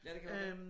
Ja det kan godt være